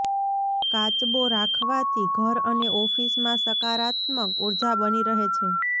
કાચબો રાખવાથી ઘર અને ઓફિસમાં સકારાત્મક ઉર્જા બની રહે છે